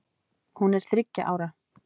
Hún er þriggja ára.